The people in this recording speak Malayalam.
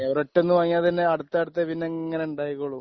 ഒരൊറ്റ ഒന്ന് വാങ്ങിയാൽ പിന്നെ അടുത്തടുത്ത് ഇങ്ങനെ ഉണ്ടായിക്കൊള്ളും